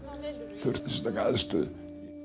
þurft aðstöðu